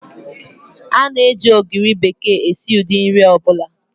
Ána eji ogiri bekee esi ụdị nri ọ bụla